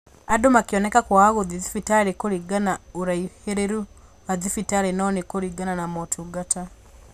Andũ makĩoneka kwaga gũthiĩ thibitarĩ kũringana ũraihĩrĩru wa thibitarĩ no nĩ kũringana na motungata